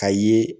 Ka ye